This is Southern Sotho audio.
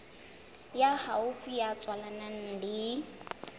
ya haufi ya tswalanang le